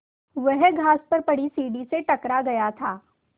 वह घास पर पड़ी सीढ़ी से टकरा गया था